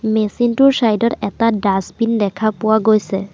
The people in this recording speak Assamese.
মেচিন টোৰ ছাইড ত এটা ডাচবিন দেখা পোৱা গৈছে।